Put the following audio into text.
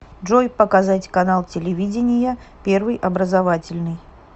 джой показать канал телевидения первый образовательный